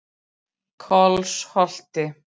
Kolsholti